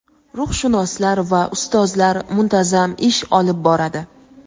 ruhshunoslar va ustozlar muntazam ish olib boradi.